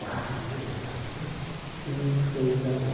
Quatro da manhã, tudo mais cinco, seis da manhã.